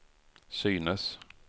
synes